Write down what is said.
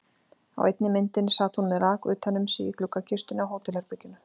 Á einni myndinni sat hún með lak utan um sig í gluggakistunni á hótelherberginu.